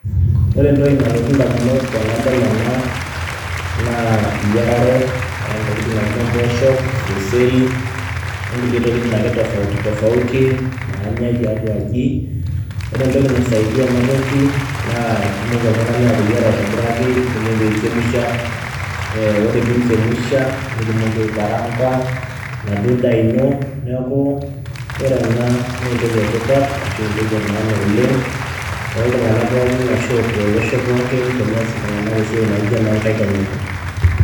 ore entoki nalotu indamunot tenadol ena, naa eyierare oo ntokiting naijo imboosho, orkeseri, oo kulie tokiting' akeyie tofauti tofauti naanyae tiatua aji, ore entoki naisaidia ena toki naa itumoki oltung'ani ateyiera aitobiraki itumoki aichemusha ore pee inchemusha nitumoki aikaraanga, enaduo daa ino neaku ore ena naa entoki ee maana shu entoki tipat oleng'. toltu ng'ank pookin ashu tolosho pookin teneas iltung'anak esiai naijoena oo nkaik enye.